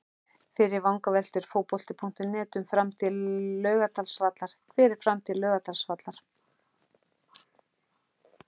Fyrri vangaveltur Fótbolti.net um framtíð Laugardalsvallar: Hver er framtíð Laugardalsvallar?